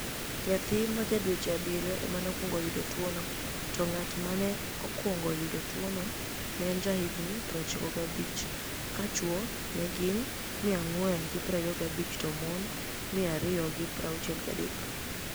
niyathi ma ja dweche abiriyo ema nokwonigo yudo tuwono, to nig'at ma ni e okwonig yudo tuwono ni e eni jahiginii 95, ka chwo ni e gini 425 to moni 263.